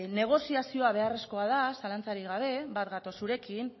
negoziazio beharrezkoa da zalantzarik gabe bat gatoz zurekin